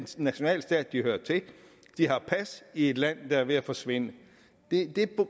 nationalstat de har pas i et land der er ved at forsvinde det